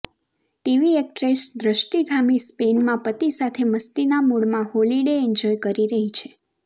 TV actress Drashti Dhami સ્પેનમાં પતિ સાથે મસ્તીના મૂડમાં હોલિડે એન્જોય કરી રહી છે